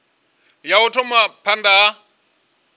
ya u thoma phanda ha